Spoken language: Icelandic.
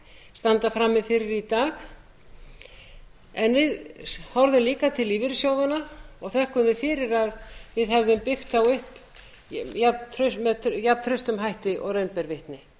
standa frammi fyrir í dag en við horfðum líka til lífeyrissjóðanna og þökkuðum fyrir að við hefðum byggt þá upp með jafntrausta hætti og raun ber vitni